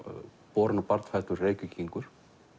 borinn og barnfæddur Reykvíkingur